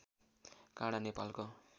काँडा नेपालको